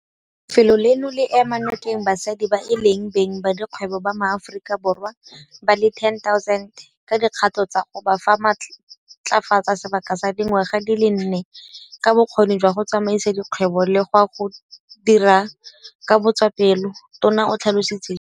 "Lefelo leno le ema nokeng basadi ba e leng beng ba dikgwebo ba maAforika Borwa ba le 10 000 ka dikgato tsa go ba matlafatsa sebaka sa dingwaga di le nne ka bokgoni jwa go tsamaisa dikgwebo le jwa go dira ka botswapelo," Tona o tlhalositse jalo.